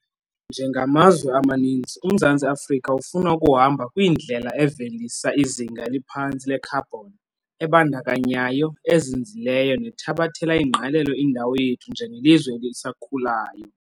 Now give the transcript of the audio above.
Njengamazwe amaninzi, uMzantsi Afrika ufuna ukuhamba kwindlela evelisa izinga eliphantsi lekhabhoni, ebandakanyayo, ezinzileyo nethabathela ingqalelo indawo yethu njengelizwe elisakhulayo.